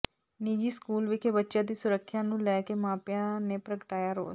ਨਿੱਜੀ ਸਕੂਲ ਵਿਖੇ ਬੱਚਿਆਂ ਦੀ ਸੁਰੱਖਿਆ ਨੂੰ ਲੈ ਕਿ ਮਾਪਿਆਂ ਨੇ ਪ੍ਰਗਟਾਇਆ ਰੋਸ